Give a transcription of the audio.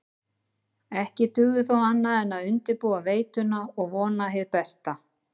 Ekki dugði þó annað en undirbúa veituna og vona hið besta.